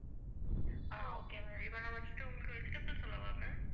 ஆஹ் okay ma'am இப்ப நான் first உங்களுக்கு vegetables சொல்லவா ma'am.